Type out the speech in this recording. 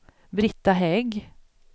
Brita Hägg